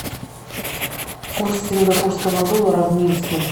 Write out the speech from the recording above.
курс сингапурского доллара в минске